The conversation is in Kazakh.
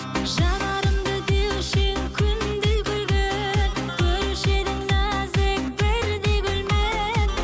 жанарымды деуші едің күндей күлген көруші едің нәзік бірдей гүлмен